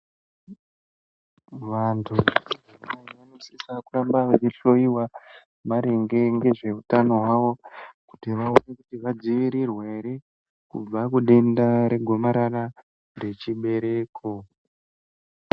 Vantu vanofana kuramba veisisa veihloiwa maringe nezvei hutano hwavo kuti vaone kuti vadzivirirwa hre kubva kudenda regomarara rechibereko.